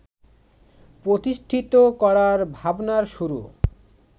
প্রতিষ্ঠিত করার ভাবনার শুরু